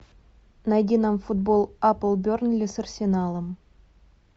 найди нам футбол апл бернли с арсеналом